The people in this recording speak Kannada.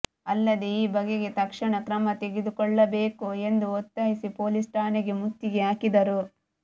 ಅಲ್ಲದೇ ಈ ಬಗೆಗೆ ತಕ್ಷಣ ಕ್ರಮ ತೆಗೆದುಕೊಲ್ಲಬೀಕು ಎಂದು ಒತ್ತಾಯಿಸಿ ಪೊಲೀಸ್ ಠಾಣೆಗೆ ಮುತ್ತಿಗೆ ಹಾಕಿದ್ದರು